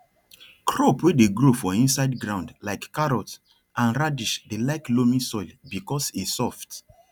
crop wey dey grow for inside ground like carrot and radish dey like loamy soil because e soft